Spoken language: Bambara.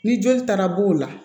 Ni joli taara bo o la